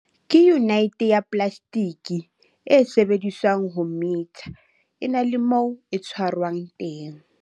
Ke yunite ya plastike, e sebediswang ho metha, e nang le moo e tshwarwang teng holder.